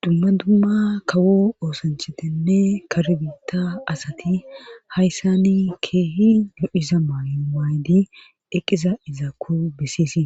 Dumma dumma kawo oosanchetenne karbitta asati hayssani keehi lo'iza maaywaaydi eqqiza izaakko besisi